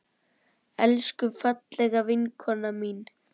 Elsku, fallega vinkona mín.